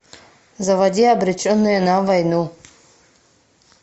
заводи обреченные на войну